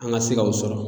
An ka se kaw sɔrɔ